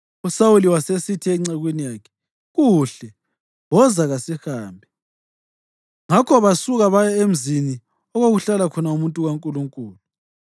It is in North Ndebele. USawuli wasesithi encekwini yakhe, “Kuhle. Woza kasihambe.” Ngakho basuka baya emzini okwakuhlala khona umuntu kaNkulunkulu.